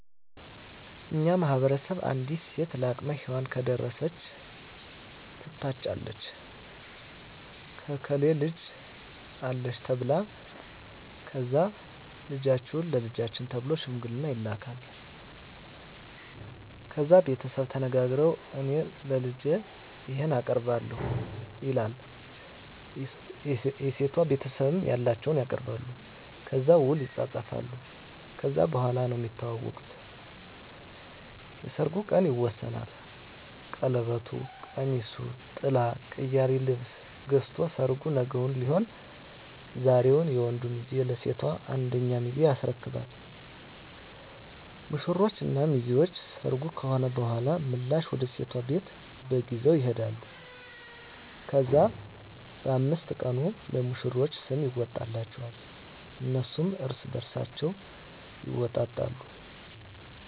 በእኛ ማህበረሰብ አንዲት ሴት ለአቅመ ሄዋን ከደረሰች ትታጫለች የእከሌ ልጅ አለች ተብላ ከዛ ልጃችሁን ለልጃችን ተብሎ ሽምግልና ይላካል። ከዛ ቤተሰቡ ተነጋግረዉ እኔ ለልጄ ይሄን አቀርባለሁ ይላል የሴቷ ቤተሰብም ያላቸዉን ያቀርባሉ። ከዛ ዉል ይፃፃፋሉ ከዛ በኋላ ነዉ እሚተዋወቁት (እሚግባቡት) የሰርጉ ቀን ይወሰናል ቀለበቱ፣ ቀሚሱ፣ ጥላ፣ ቅያሪ ልብስ ገዝቶ ሰርጉ ነገዉን ሊሆን ዛሬዉን የወንዱ ሚዜ ለሴቷ አንደኛ ሚዜ ያስረክባሉ። ሙሽሮች እና ሚዜዎች ሰርጉ ከሆነ በኋላ ምላሽ ወደ ሴቷ ቤት በግ ይዘዉ ይሄዳሉ። ከዛ በ5 ቀኑ ለሙሽሮች ስም ይወጣላቸዋል እነሱም እርስበርሳቸዉ ስም ይወጣጣሉ።